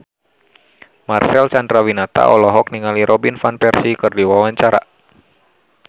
Marcel Chandrawinata olohok ningali Robin Van Persie keur diwawancara